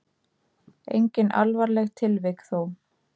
Engin alvarleg tilvik þó.